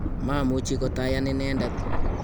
mamuchi kotayan inendet